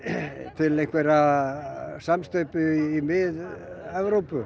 til einhverrar samsteypu í Mið Evrópu